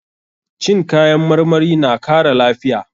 Cin kayan marmari na kara lafiya.